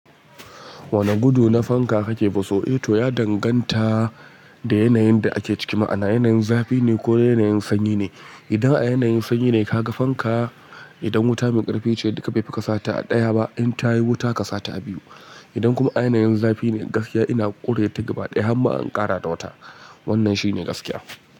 Wane gudu na fanka kake so? Eh to, ya danganta da yanayin da ake ciki, ma'ana yanayin zafi ne ko yanayin sanyi ne. Idan a yanayin sanyi ne ka ga fanka, idan wuta mai ƙarfi ce duka bai fi ka sata a ɗaya ba, in ta yi wuta ka sata a biyu. Idan kuma a yanayin zafi ne, gaskiya ina ƙure ta gaba ɗaya hamma in ƙara da wata. Wannan shi ne gaskiya.